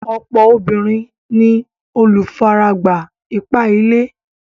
Ọ̀pọ̀ obìnrin ni olùfaragbá ipá-ilé.